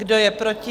Kdo je proti?